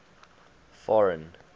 foreign